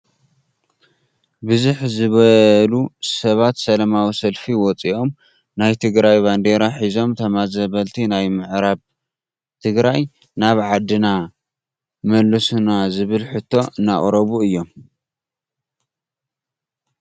ብዝሕ ዝበሉ ሰባት ሰላማዊ ሰልፊ ወፅዮም ናይ ትግራይ ባንዴራ ሒዞም ተመዛበልቲ ናይ ምዕራብ ትግራይ ናብ ዓድና ምለሱና ዝብል ሕቶ እናቅረቡ እዮም።